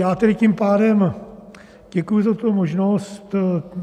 Já tedy tím pádem děkuji za tuto možnost.